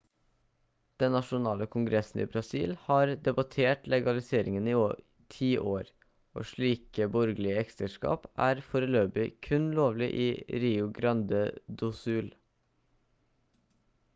den nasjonale kongressen i brasil har debattert legaliseringen i 10 år og slike borgerlige ekteskap er foreløpig kun lovlig i rio grande do sul